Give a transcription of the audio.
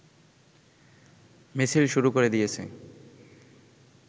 মিছিল শুরু করে দিয়েছে